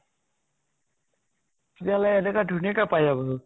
তেতিয়াহলে তাহঁতে ধুনিয়াকে পাৰি যাব দেখোন ?